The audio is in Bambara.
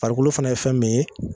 Farikolo fana ye fɛn min ye